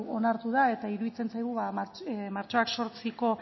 onartu da eta iruditzen zaigu ba martxoak zortziko